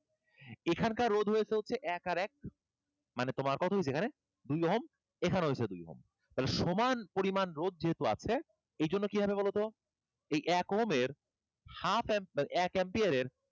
এখানকার রোধ হয়েছে হচ্ছে এক আর এক মানে তোমার কত হইসে এখানে? দুই Ohm এখানেও হয়েছে দুই Ohm মানে তাহলে সমান পরিমান রোধ যেহেতু আছে এই জন্য কি হবে বলতো? এই এক Ohm এর half মানে এক ampere এর,